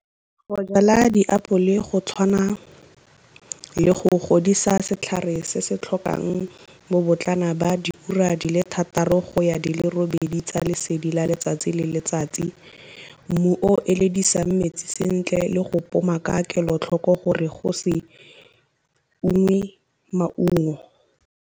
Go jala diapole go tshwana le go godisa setlhare se se tlhokang bo botlana ba diura di le thataro go ya di le robedi tsa lesedi la letsatsi le letsatsi, mmu o eledisang metsi sentle le go poma ka kelotlhoko gore go se ungwe maungo.